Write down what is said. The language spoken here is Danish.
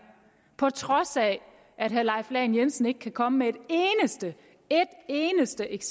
på trods af at herre leif lahn jensen ikke kan komme med et eneste et